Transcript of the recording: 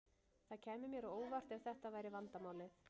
Það kæmi mér á óvart ef þetta væri vandamálið.